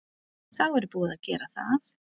Þá er búið að gera það.